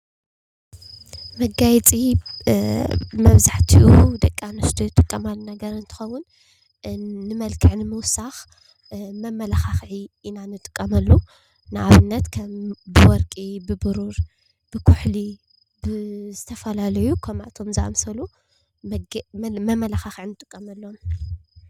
መጋየፂ መብዛሕትኡ ደቂ ኣንስትዩ ዝጥቀማሉ ነገር እንትከውን ንመልክዕ ንምውሳክ መማላዒi ኢና ንጥቀመሉ። ንኣብነት ከም ወርቂ፣ ቡሩር፣ ብኩሕሊ ዝተፈላለዩ ከምኣቶም ዝአመሰሉ መመላካክዒ ንጥቀመሉ።